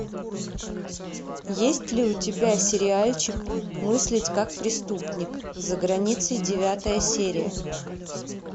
есть ли у тебя сериальчик мыслить как преступник за границей девятая серия